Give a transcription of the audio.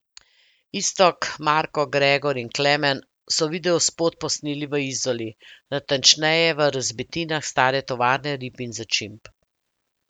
Iztok, Marko, Gregor in Klemen so videospot posneli v Izoli, natančneje v razbitinah stare tovarne rib in začimb.